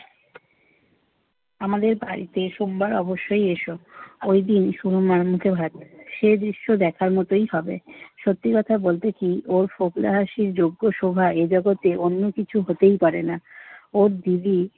আমাদের বাড়িতে সোমবার অবশ্যই এসো। ঐদিন সোহমের মুখে ভাত। সে দৃশ্য দেখার মতোই হবে। সত্যি কথা বলতে কি ওর ফোকলা হাসির যোগ্য শোভা এ জগতে অন্য কিছু হতেই পারে না। ওর দিদি